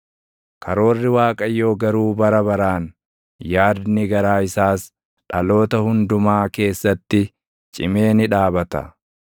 Karoorri Waaqayyoo garuu bara baraan, yaadni garaa isaas dhaloota hundumaa keessatti cimee ni dhaabata.